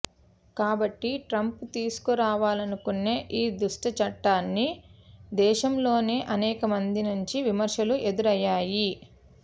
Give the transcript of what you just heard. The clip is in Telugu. కాబట్టి ట్రంప్ తీసుకురావా లనుకునే ఈ దుష్టచట్టానికి దేశంలోనే అనేకమంది నుంచి విమర్శలు ఎదురయ్యాయి